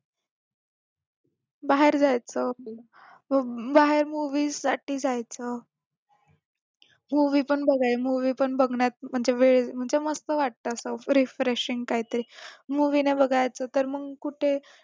बाहेर जायचं बाहेर movies साठी जायचं movie पण बघाय movie पण बघण्यात म्हणजे मस्त वाटतं असं refreshing काय ते movie नाही बघायचं तर मग कुठे